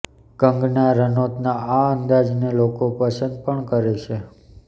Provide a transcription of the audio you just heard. કંગના રનૌતના આ અંદાજને લોકો પસંદ પણ કરે છે